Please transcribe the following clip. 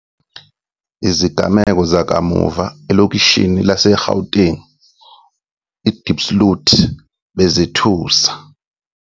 Izigameko zakamuva elokishini lase-Gauteng i-Diepsloot bezithusa.